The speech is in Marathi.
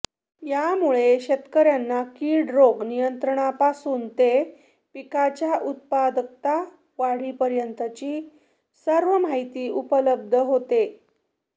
यामुळे शेतकऱ्यांना कीड रोग नियंत्रणापासून ते पिकांच्या उत्पादकता वाढीपर्यंतची सर्व माहिती उपलब्ध होते